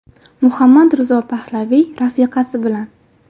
Muhammad Rizo Pahlaviy rafiqasi bilan.